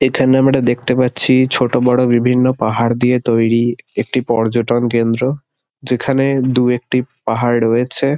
এখানে আমরা দেখতে পাচ্ছি ছোট বড় বিভিন্ন পাহাড় দিয়ে তৈরী একটি পর্যটনকেন্দ্র যেখানে দু-একটি পাহাড় রয়েছে।